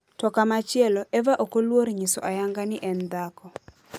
To komachielo, Eva ok oluor nyiso ayanga ni en dhako.